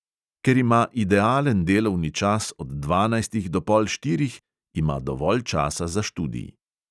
Ker ima idealen delovni čas od dvanajstih do pol štirih, ima dovolj časa za študij.